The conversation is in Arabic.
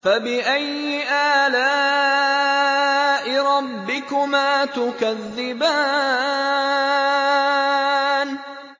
فَبِأَيِّ آلَاءِ رَبِّكُمَا تُكَذِّبَانِ